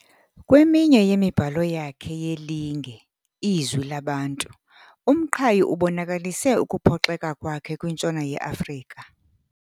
Kweminye yemibhalo yakhe yelinge Izwi Labantu, uMqhayi ubonakalise ukuphoxeka kwakhe kwintshona yeAfrika.